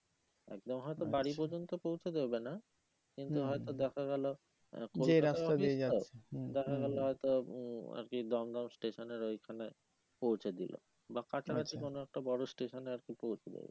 একদম হয়তো বাড়ি পর্যন্ত পৌঁছে দেবে না কিন্তু হয়ে তো দেখা গেলো দেখা গেলো হয়তো আর কি দম দম স্টেশন এর ওইখানে পৌঁছে দিলো বা কাছা কাছি কোনো একটা বড়ো স্টেশনে আর কি পৌঁছে দেবে